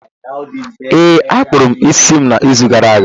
Ee, a kpụrụ m isi m n’izu gara aga.